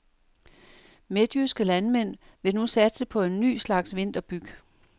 Midtjyske landmænd vil nu satse på en ny slags vinterbyg.